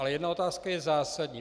Ale jedna otázka je zásadní.